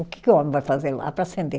O que que o homem vai fazer lá para acender?